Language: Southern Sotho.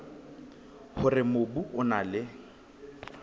hore mobu o na le